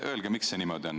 Öelge, miks see nii on.